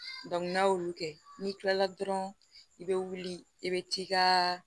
n'a y'olu kɛ n'i kilala dɔrɔn i bɛ wuli i bɛ t'i ka